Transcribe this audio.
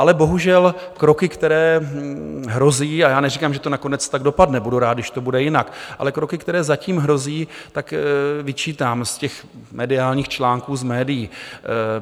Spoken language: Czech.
Ale bohužel kroky, které hrozí, a já neříkám, že to nakonec tak dopadne, budu rád, když to bude jinak, ale kroky, které zatím hrozí, tak vyčítám z těch mediálních článků, z médií.